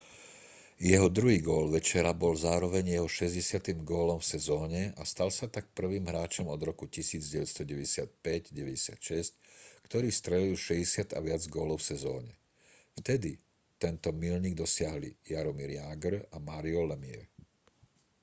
jeho druhý gól večera bol zároveň jeho 60. gólom v sezóne a stal sa tak prvým hráčom od roku 1995/96 ktorý strelil 60 a viac gólov v sezóne vtedy tento míľnik dosiahli jaromír jágr a mario lemieux